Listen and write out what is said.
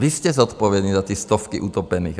Vy jste zodpovědní za ty stovky utopených.